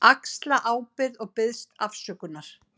Axla ábyrgð og biðst afsökunar.